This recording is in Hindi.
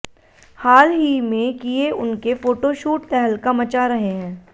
हाल ही में किये उनके फोटोशूट तहलका मचा रहे हैं